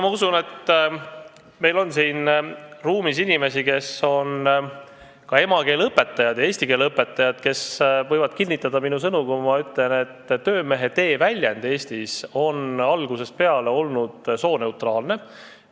Ma usun, et meil on siin ruumis inimesi, kes on emakeeleõpetajad, eesti keele õpetajad ja võivad kinnitada minu sõnu, kui ma ütlen, et sõna "töömehetee" on eesti keeles olnud algusest peale sooneutraalne.